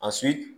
A